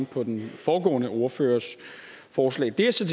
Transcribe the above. på den foregående ordførers forslag der er så